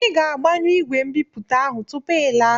I ga-agbanyụ ìgwè mbipụta ahụ tupu ị laa!